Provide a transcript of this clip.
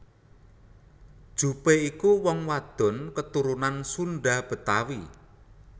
Jupe iku wong wadon keturunan Sunda Betawi